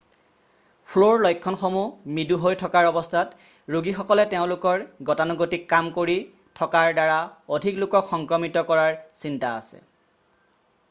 ফ্লুৰ লক্ষণসমূহ মৃদু হৈ থকাৰ অৱস্থাত ৰোগীসকলে তেওঁলোকৰ গতানুগতিক কাম কৰি থকাৰ দ্বাৰা অধিক লোকক সংক্ৰমিত কৰাৰ চিন্তা আছে